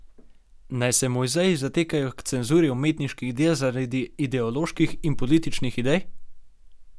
Naj se muzeji zatekajo k cenzuri umetniških del zaradi ideoloških in političnih idej?